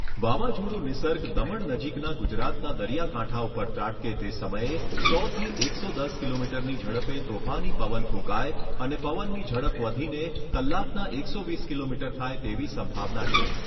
વાવાઝોડું નિસર્ગ દમણ નજીકના ગુજરાતના દરિયા કાંઠા ઉપર ત્રાટકે તે સમયે સો થી એકસો દસ કિલોમીટરની ઝડપે તોફાની પવન ફૂંકાય અને પવનની ઝડપ વધીને કલાકના એકસો વીસ કિલોમીટર થાય તેવી સંભાવના છે.